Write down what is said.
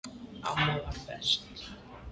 Amma var best.